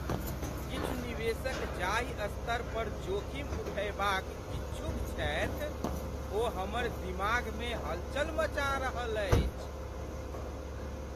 किछु निवेशक जाहि स्तर पर जोखिम उठयबाक इच्छुक छथि ओ हमर दिमागमे हलचल मचा रहल अछि।